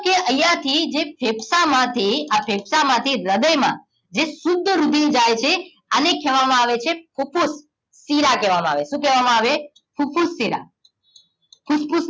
કેમકે અયાથી જે ફેફસા માં થીઆ ફેફસા માંથી હ્રદય માં જે શુદ્ધ રુધિર જાય છે આને કેવા માં આવે છે ફૂફૂસ શીરા કેવા માં આવે છે શું કેવા માં આવે ફૂફૂસ શીરા ફૂફૂસ